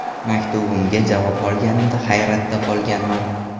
Maktubimga javob olganimda hayratda qolganman.